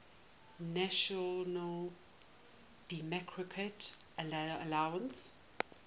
national democratic alliance